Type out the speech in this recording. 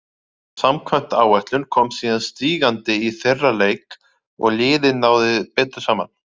En samkvæmt áætlun kom síðan stígandi í þeirra leik og liðið náði betur saman.